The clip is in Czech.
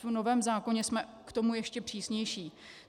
V novém zákoně jsme k tomu ještě přísnější.